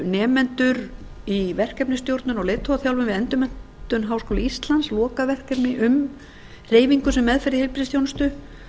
nemendur í verkefnastjórnun og leiðtogaþjálfun við endurmenntun háskóla íslands lokaverkefni um hreyfingu sem meðferð í heilbrigðisþjónustu